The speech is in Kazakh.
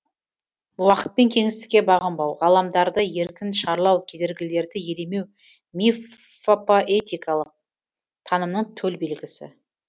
уақыт пен кеңістікке бағынбау ғаламдарды еркін шарлау кедергілерді елемеу миффопоэтикалық танымның төл белгісі